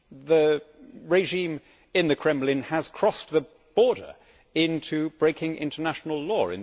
the regime in the Kremlin has crossed the border into breaking international law.